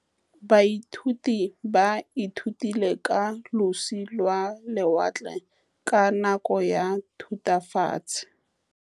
Baithuti ba ithutile ka losi lwa lewatle ka nako ya Thutafatshe.